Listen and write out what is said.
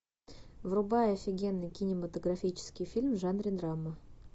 врубай офигенный кинематографический фильм в жанре драма